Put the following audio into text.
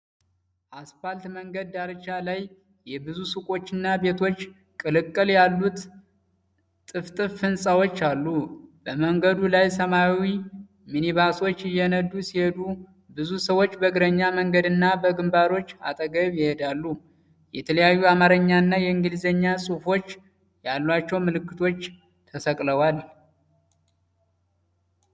አስፋልት መንገድ ዳርቻ ላይ የብዙ ሱቆችና ቤቶች ቅልቅል ያሉት ጥፍጥፍ ህንጻዎች አሉ። በመንገዱ ላይ ሰማያዊ ሚኒባሶች እየነዱ ሲሄዱ፣ ብዙ ሰዎች በእግረኛ መንገድና በግንባሮች አጠገብ ይሄዳሉ። የተለያዩ የአማርኛና የእንግሊዝኛ ጽሑፎች ያለባቸው ምልክቶች ተሰቅለዋል።